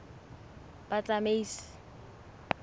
batsamaisi